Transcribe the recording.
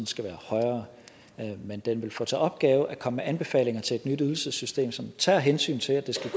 skal være højere men den vil få til opgave at komme med anbefalinger til et nyt ydelsessystem som tager hensyn til at det set